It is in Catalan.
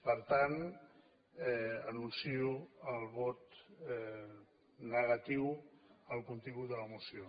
per tant anuncio el vot negatiu al contingut de la moció